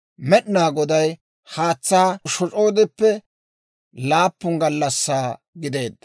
Med'inaa Goday haatsaa shoc'oodeppe laappun gallassaa gideedda.